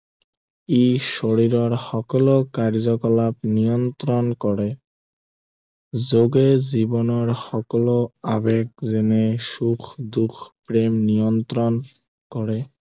ই শৰীৰৰ সকলো কাৰ্যকলাপ নিয়ন্ত্ৰণ কৰে যোগে জীৱনৰ সকলো আৱেগ যেনে সুখ দুখ প্ৰেম নিয়ন্ত্ৰণ কৰে